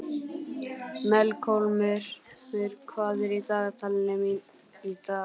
Melkólmur, hvað er í dagatalinu í dag?